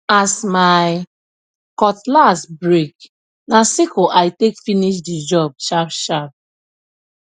as my cutlass break na sickle i take finish the job sharpsharp